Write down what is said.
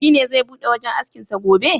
Shi ne zai bude wajen askin sa gobe?